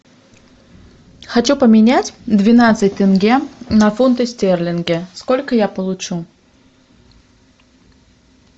хочу поменять двенадцать тенге на фунты стерлинги сколько я получу